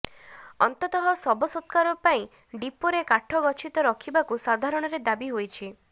ଅନ୍ତତଃ ଶବ ସତ୍କାର ପାଇଁ ଡିପୋରେ କାଠ ଗଛିତ ରଖିବାକୁ ସାଧାରଣରେ ଦାବି ହୋଇଛି